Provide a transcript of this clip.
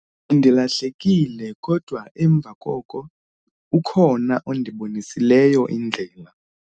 bendilahlekile kodwa emva koko ukhona ondibonisileyo indlela